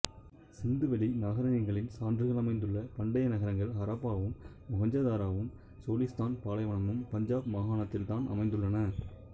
சிந்துவெளி நாகரீகங்களின் சான்றுகள் அமைந்துள்ள பண்டைய நகரங்கள் ஹராப்பாவும் மொஹஞ்சதாரோவும் சோலிஸ்தான் பாலைவனமும் பஞ்சாப் மாகாணத்தில்தான் அமைந்துள்ளன